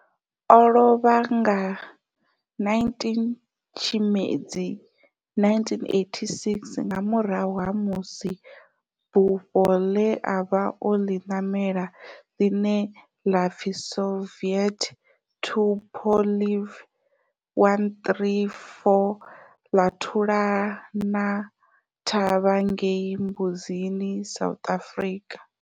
O lovha nga 19 Tshimedzi 1986 nga murahu ha musi bufho le a vha o li namela, line la pfi Soviet Tupolev 134 la thulana thavha ngei Mbuzini, South Africa.